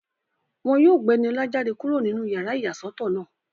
Wọ́n yóò gba Ẹniọlá jáde kúrò nínú yàrá ìyàsọ́tọ̀ náà